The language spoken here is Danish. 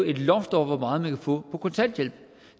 et loft over hvor meget man kan få i kontanthjælp